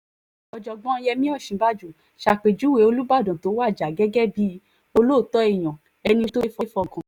ọ̀jọ̀gbọ́n yemí òsínbàjò ṣàpèjúwe olùbàdàn tó wájà gẹ́gẹ́ bíi olóòótọ́ èèyàn ẹni tó ṣeé